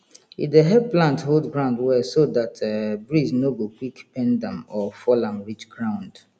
e dey help plant hold ground well so dat um breeze no go quick bend am or fall am reach ground